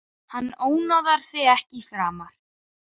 Hann ónáðar þig ekki framar.